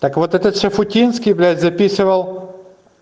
так вот этот шуфутинский блять записывал